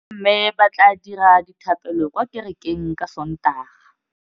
Bommê ba tla dira dithapêlô kwa kerekeng ka Sontaga.